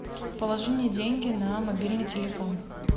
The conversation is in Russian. положи мне деньги на мобильный телефон